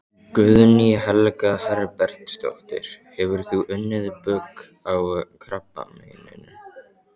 Guðný Helga Herbertsdóttir: Hefur þú unnið bug á krabbameininu?